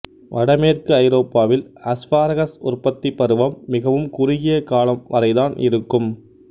வடமேற்கு ஐரோப்பாவில் அஸ்பாரகஸ் உற்பத்திப் பருவம் மிகவும் குறுகியக்காலம் வரைதான் இருக்கும்